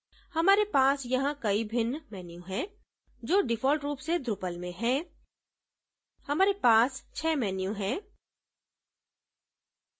हमारे पास यहाँ कई भिन्न menus हैं जो default रूप से drupal में हैं हमारे पास 6 menus हैं